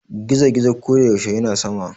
gizo- gizo ko da yaushe yana sama